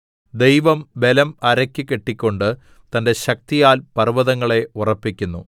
ദൈവം ബലം അരയ്ക്ക് കെട്ടിക്കൊണ്ട് തന്റെ ശക്തിയാൽ പർവ്വതങ്ങളെ ഉറപ്പിക്കുന്നു